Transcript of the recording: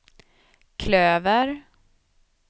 klöver